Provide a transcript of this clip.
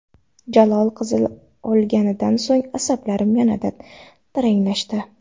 Jalol qizil olganidan so‘ng asablarim yanada taranglashdi.